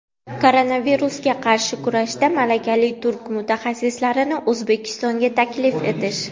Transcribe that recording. koronavirusga qarshi kurashda malakali turk mutaxassislarini O‘zbekistonga taklif etish;.